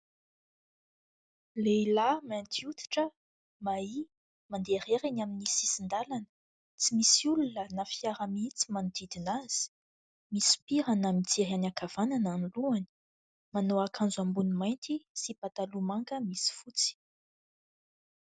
Lehilahy mainty hoditra, mahia, mandeha irery eny amin'ny sisin-dalana, tsy misy olona na fiara mihitsy manodidina azy, misopirana mijery any ankavanana ny lohany, manao akanjo ambony mainty sy pataloha manga misy fotsy.